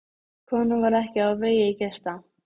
Konan varð ekki á vegi gesta.